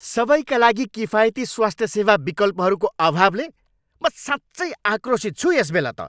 सबैका लागि किफायती स्वास्थ्य सेवा विकल्पहरूको अभावले म साँच्चै आक्रोसित छु यसबेला त।